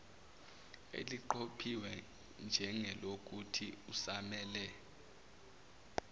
eliqophiwe njengelokuthi usamele